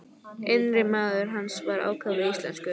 Innri maður hans var ákaflega íslenskur.